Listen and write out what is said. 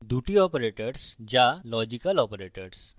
দুটি operators two logical operators